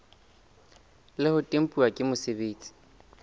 le ho tempuwa ke mosebeletsi